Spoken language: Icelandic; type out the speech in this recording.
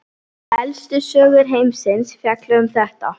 Elstu sögur heimsins fjalla um þetta.